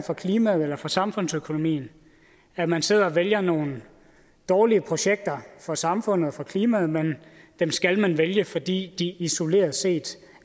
klimaet eller for samfundsøkonomien at man sidder og vælger nogle dårlige projekter for samfundet for klimaet men dem skal man vælge fordi de isoleret set